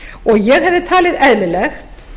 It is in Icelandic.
og ég hefði talið eðlilegt